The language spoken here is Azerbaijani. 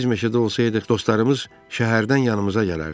Biz meşədə olsaydıq, dostlarımız şəhərdən yanımıza gələrdi.